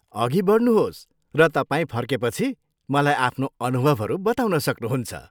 अघि बढ्नुहोस् र तपाईँ फर्केपछि, मलाई आफ्नो अनुभवहरू बताउन सक्नुहुन्छ।